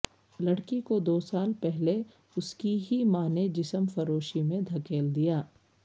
لڑکی کو دو سال پہلے اس کی ہی ماں نے جسم فروشی میں دھکیل دیا